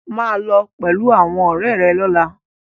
Maa lo pẹlu awọn ọrẹ rẹ lọla!